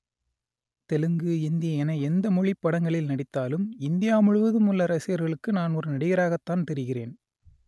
தெலுங்கு இந்தி என எந்தமொழி படங்களில் நடித்தாலும் இந்தியா முழுவதும் உள்ள ரசிகர்களுக்கு நான் ஒரு நடிகராகத்தான் தெரிகிறேன்